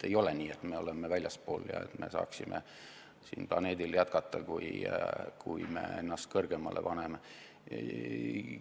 Ei ole nii, et me oleme sellest väljaspool ja ennast sellest kõrgemale paneme, kui me tahame siin planeedil jätkata.